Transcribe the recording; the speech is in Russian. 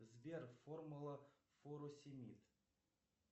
сбер формула фуросемид